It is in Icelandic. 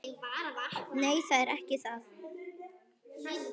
Nei, það er ekki það.